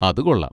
അത് കൊള്ളാം.